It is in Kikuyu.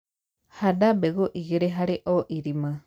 handa mbegũ ĩgĩrĩ harĩ o irima